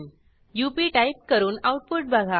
up type करून output बघा